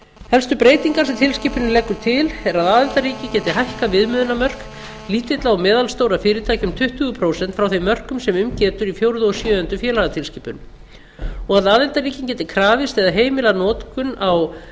helstu breytingar sem tilskipunin leggur til eru að aðildarríki geti hækkað viðmiðunarmörk lítilla og meðalstórra fyrirtækja um tuttugu prósent frá þeim mörkum sem um getur í fjórðu og sjöundu félagatilskipun og að aðildarríkin geti krafist eða heimilað notkun á